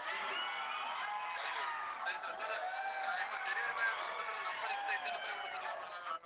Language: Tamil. வள்ளியூர் சரி sir sir நான் இப்ப delivery boy வரும்போது number இந்த இந்த number ஏ குடுத்தரலாம்ல நாங்க